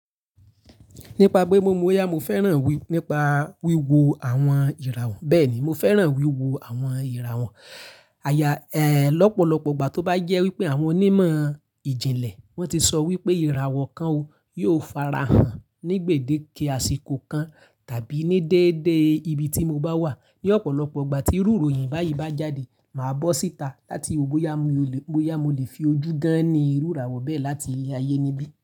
Nípa pe mo mọ boyá, mo fẹ́ràn wí, nípa wíwo àwọn ìràwọ̀. Bẹ́ẹ̀ ni, mo fẹ́ràn wíwo àwọn ìràwọ̀. Àyà, ẹ, lọ́pọ̀lọpọ̀ ìgbà tó bá jẹ́ wípé àwọn onímọ̀ ìjìnlẹ̀ wọ́n ti sọ wípé ìràwọ̀ kan ó, yóò farahàn ní gbèdéke àsìkò kan tàbí ní déédé ibi tí mo bá wà. Ní ọ̀pọ̀lọpọ̀ ìgbà tí iru ròyìn báyìí bá jáde, màá bọ́ síta láti ò bóyá mo lè, bóyá mo lè fi ojú gán-ni iru ìràwọ̀ bẹ́ẹ̀ láti ile ayé níbí.